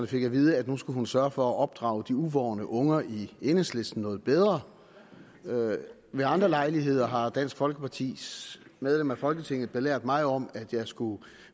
fik at vide at nu skulle hun sørge for at opdrage de uvorne unger i enhedslisten noget bedre ved andre lejligheder har dansk folkepartis medlem af folketinget belært mig om at jeg skulle